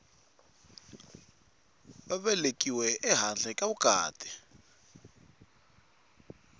a velekiwe ehandle ka vukati